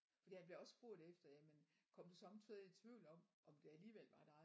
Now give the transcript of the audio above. Fordi han bliver også spurgt efter jamen kom du sommetider i tvivl om om det alligevel var dig